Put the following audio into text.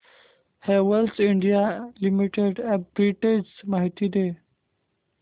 Havells India limited arbitrage माहिती दे